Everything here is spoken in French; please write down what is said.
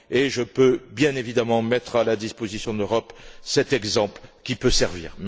Je peux, bien évidemment, mettre à la disposition de l'Europe cet exemple qui peut servir.